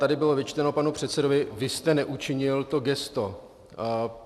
Tady bylo vyčteno panu předsedovi: Vy jste neučinil to gesto.